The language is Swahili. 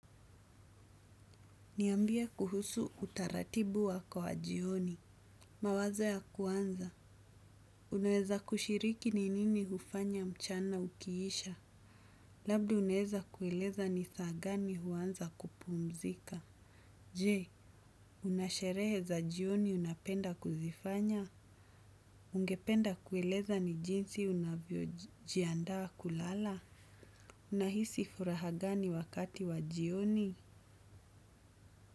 Niambie kuhusu utaratibu wako wa jioni. Mawaza ya kuanza. Unaweza kushiriki ni nini hufanya mchana ukiisha. Labda unaeza kueleza ni saa gani huanza kupumzika. Je, una sherehe za jioni unapenda kuzifanya? Ungependa kueleza ni jinsi unavyojiandaa kulala? Unahisi furaha gani wakati wa jioni?